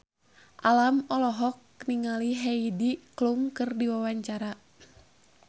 Alam olohok ningali Heidi Klum keur diwawancara